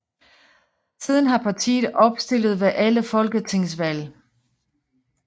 Siden har partiet opstillet ved alle folketingsvalg